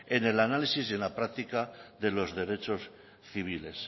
en el análisis y en la práctica de los derechos civiles